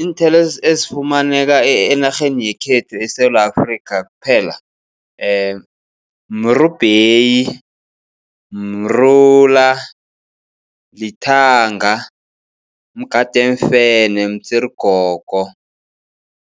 Iinthelo ezifumaneka enarheni yekhethu eSewula Afrika kuphela. Mrubheyi, mrula, lithanga, mugade weemfene, mtsirigogo,